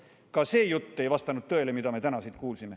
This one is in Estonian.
Nii et ka see jutt ei vastanud tõele.